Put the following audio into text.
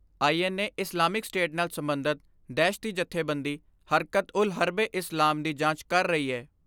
I N A Islamic State ਨਾਲ ਸਬੰਧਤ ਦਹਿਸ਼ਤੀ ਜਥੇਬੰਦੀ ਹਰਕਤ ਉਲ ਹਰਬ ਏ ਇਸਲਾਮ ਦੀ ਜਾਂਚ ਕਰ ਰਹੀ ਏ।